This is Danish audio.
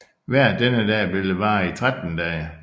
Vejret denne dag ville vare i 13 dage